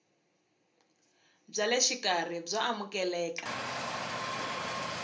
bya le xikarhi byo amukeleka